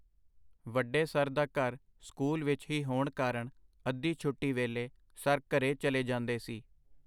ਵੱਡੇ ਸਰ ਦਾ ਘਰ ਸਕੂਲ ਵਿੱਚ ਹੀ ਹੋਣ ਕਾਰਣ ਅੱਧੀ ਛੁੱਟੀ ਵੇਲੇ ਸਰ ਘਰੇ ਚਲੇ ਜਾਂਦੇ ਸੀ.